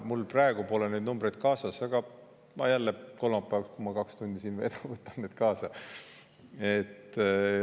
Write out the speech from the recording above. Mul praegu pole neid numbreid kaasas, aga kolmapäeval, kui ma jälle kaks tundi siin veedan, võtan need kaasa.